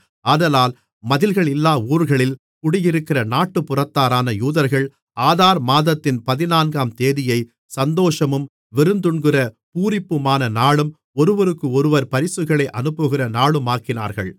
ஆதலால் மதில்களில்லாத ஊர்களில் குடியிருக்கிற நாட்டுப்புறத்தாரான யூதர்கள் ஆதார் மாதத்தின் பதினான்காம்தேதியைச் சந்தோஷமும் விருந்துண்கிற பூரிப்புமான நாளும் ஒருவருக்கொருவர் பரிசுகளை அனுப்புகிற நாளுமாக்கினார்கள்